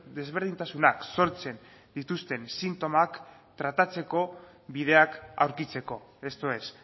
desberdintasunak sortzen dituzten sintomak tratatzeko bideak aurkitzeko esto es